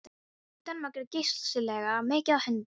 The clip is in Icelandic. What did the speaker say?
Í Danmörku er geysilega mikið af hundum.